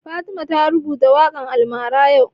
Fatima ta rubuta waƙan almara yau